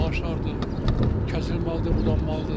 Ağaclar kəsilməlidir, budanmalıdır.